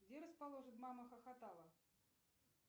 где расположен мама хохотала